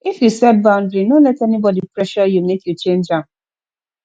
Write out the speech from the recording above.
if you set boundary no let anybody pressure you make you change am